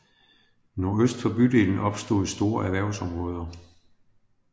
Nordøst for bydelen opstod store erhvervsområder